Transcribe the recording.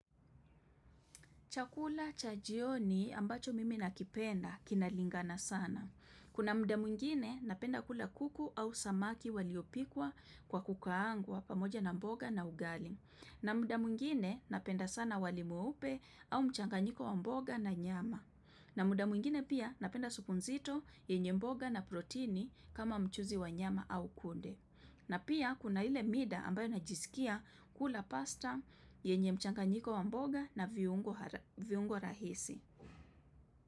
Chakula cha jioni ambacho mimi nakipenda kinalingana sana. Kuna muda mwingine napenda kula kuku au samaki waliopikwa kwa kukaangwa pamoja na mboga na ugali. Na muda mwingine napenda sana wali mweupe au mchanganyiko wa mboga na nyama. Na muda mwingine pia napenda supu nzito yenye mboga na protini kama mchuzi wa nyama au kunde. Na pia kuna ile mida ambayo najisikia kula pasta yenye mchanganyiko wa mboga na viungo rahisi.